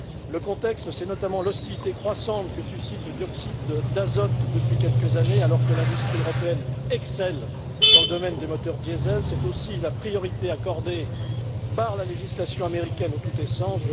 Le contexte, c'est notamment l'hostilité croissante que suscite le dioxyde d'azote depuis quelques années, alors que l'industrie européenne excelle dans le domaine des moteurs diésels, c'est aussi la priorité accordée par la législation américaine au tout essence.